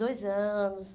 Dois anos?